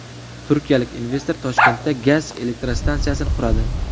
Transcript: Turkiyalik investor Toshkentda gaz elektrostansiyasini quradi.